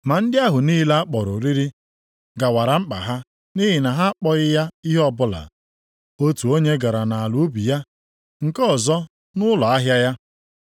“Ma ndị ahụ niile a kpọrọ oriri gawaara mkpa ha nʼihi na ha akpọghị ya ihe ọbụla. Otu onye gara nʼala ubi ya, nke ọzọ nʼụlọ ahịa ya.